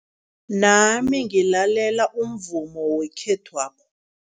Nami ngilalela umvumo wekhethwapha.